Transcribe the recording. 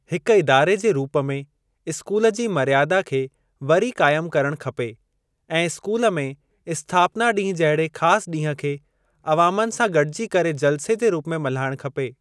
हिक इदारे जे रूप में स्कूल जी मर्यादा खे वरी क़ाइम करणु खपे ऐं स्कूल में स्थापना ॾींहुं जहिड़े ख़ासि ॾींहुं खे अवामनि सां गॾिजी मिली जलसे जे रूप में मल्हाइणु खपे।